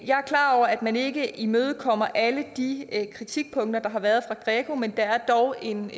jeg er klar over at man ikke imødekommer alle de kritikpunkter der har været fra greco men der er dog en